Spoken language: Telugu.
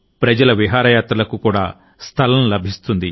ప్రజల విహారయాత్రలకు కూడా స్థలం లభిస్తుంది